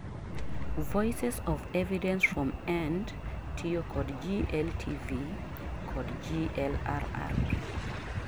Voices of Evidence from End-tiyo kod GLTV kod GLRRP